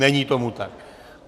Není tomu tak.